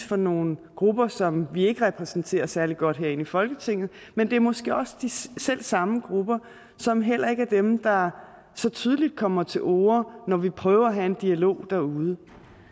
for nogle grupper som vi ikke repræsenterer særlig godt herinde i folketinget men det er måske også de selv samme grupper som heller ikke er dem der så tydeligt kommer til orde når vi prøver at have en dialog derude